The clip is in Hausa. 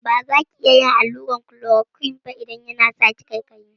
A'a, baza ki iya yin allurar klorokwin ba idan yana saki ƙaiƙaiyi.